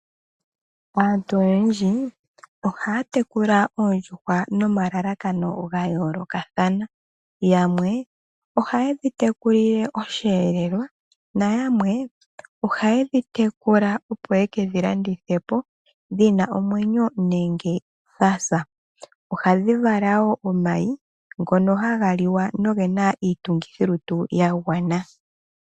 Aantu oyendji ohaya tekula oondjuhwa nomalalakano ga yoolokathana. Yamwe ohaye dhi tekulile osheelelwa nayamwe ohaye dhi tekula, opo ye ke dhi landithe po dhi na omwenyo nenge dha sa. Ohadhi vala wo omayi ngono haga liwa noge na iitungithilutu ya gwana.